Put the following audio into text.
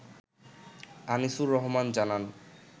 আনিছুর রহমান জানান